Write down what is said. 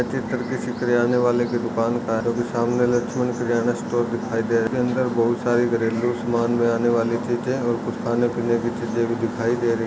यह चित्र किसी किराने वाले के दुकान का है जो की सामने लक्ष्मण किरण स्टोर्स दिखाई दे रहा है इसके अंदर बहुत सारे घरेलू समान आने वाली चिजे और कुछ खाने पीने की भी चिजे दिखाई दे रही --